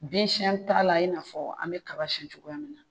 Bin siɲɛn t'a la i n'a fɔ an bɛ kaba siyɛn cogoya min na